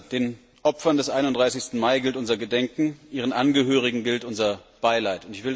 Den Opfern des 31. Mai gilt unser Gedenken, ihren Angehörigen gilt unser Beileid.